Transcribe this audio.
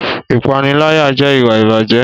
Ìpániláyà jẹ́ ìwà ìbàjẹ́